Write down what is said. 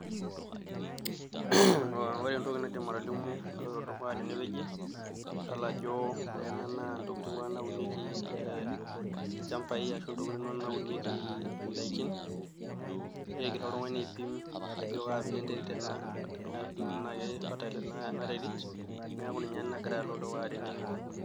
Ore entoki naidim atolimu naloito dukuya tenewueji na ore ena na entoki naunieki e lchambai ashu ntokitin naunieki ndakin egira oltungani aipim ajo kaabila enterit ena tanaa ke fertile enaterit neaku ninye nagira alo dukuya tenewueji .